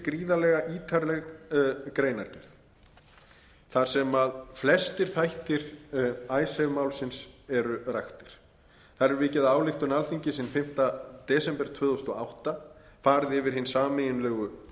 gríðarlega ítarleg greinargerð þar sem flestir þættir icesave málsins eru raktir þar er vikið að ályktun alþingis hinn fimmta desember tvö þúsund og átta farið yfir hins sameiginlegu